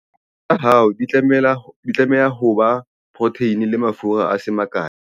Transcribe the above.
dijo tsa hao di tlameha ho ba le poroteine le mafura a se makae